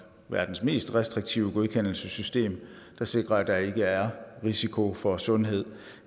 verdens mest restriktive godkendelsessystem der sikrer at der ikke er risiko for sundhed